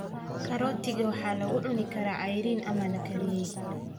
Karootiga waxaa lagu cuni karaa cayriin ama la kariyey.